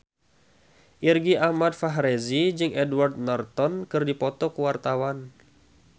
Irgi Ahmad Fahrezi jeung Edward Norton keur dipoto ku wartawan